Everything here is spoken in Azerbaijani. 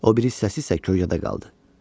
O biri hissəsi isə kölgədə qaldı.